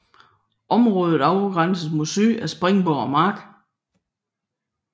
Området afgrænses mod syd af Spindborg mark